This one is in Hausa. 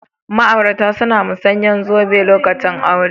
Ma'aurata suna musauyan zube lokacin bikin aure.